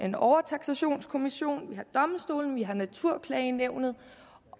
en overtaksationskommission vi har domstolene vi har natur